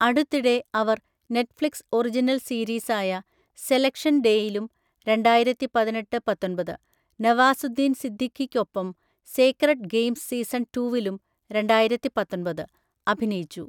അടുത്തിടെ, അവര്‍ Netflix original സീരീസായ 'സെലക്ഷൻ ഡേ'യിലും (രണ്ടായിരത്തി പതിനെട്ട് – പത്തൊന്‍പത്) നവാസുദ്ദീൻ സിദ്ദിഖിയ്‌ക്കൊപ്പം 'സേക്രഡ് ഗെയിംസ് സീസൺ റ്റു'വിലും (രണ്ടായിരത്തി പത്തൊന്‍പത്) അഭിനയിച്ചു.